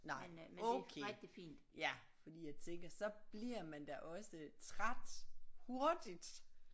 Nej okay ja fordi jeg tænker så bliver man da også træt hurtigt